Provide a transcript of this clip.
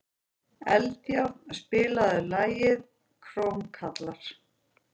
Eldjárn, spilaðu lagið „Krómkallar“.